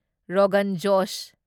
Rogan José